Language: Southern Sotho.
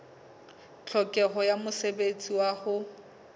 tlhokeho ya mosebetsi wa ho